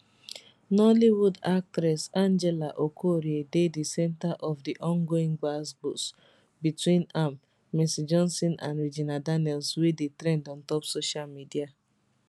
nollywood actress angela okorie dey di centre of di ongoing gbasgbos between am mercy johnson and regina daniels wey dey trend ontop social media